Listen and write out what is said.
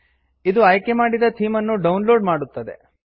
ಇದು ಆಯ್ಕೆಮಾಡಿದ ಥೀಮನ್ನು ಡೌನ್ ಲೋಡ್ ಮಾಡುತ್ತದೆ